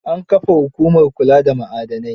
An kafa hukumar kula da ma'adanai.